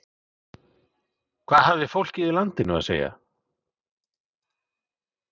Hvað hafði fólkið í landinu að segja?